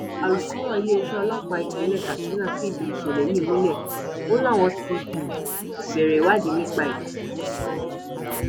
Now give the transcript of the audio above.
um alūkrọ iléeṣẹ ọlọpàá ìpínlẹ katsina fìdí ìṣẹlẹ yìí múlẹ o láwọn ti um bẹrẹ ìwádìí nípa ẹ